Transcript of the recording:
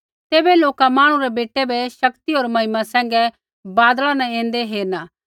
तैबै लोका मांहणु रै बेटै बै शक्ति होर महिमा सैंघै बादला न ऐन्दै हेरना